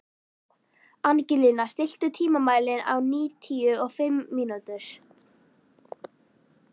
Angelína, stilltu tímamælinn á níutíu og fimm mínútur.